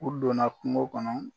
U donna kungo kɔnɔ